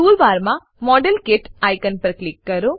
tool બારમાં model kit icon પર click કરો